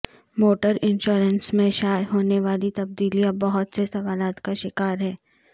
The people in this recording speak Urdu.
موٹر انشورنس میں شائع ہونے والی تبدیلیاں بہت سے سوالات کا شکار ہیں